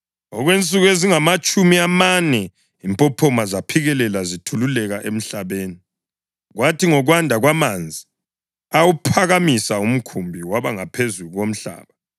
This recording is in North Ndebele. Okwensuku ezingamatshumi amane impophoma zaphikelela zithululeka emhlabeni, kwathi ngokwanda kwamanzi awuphakamisa umkhumbi waba ngaphezulu komhlaba.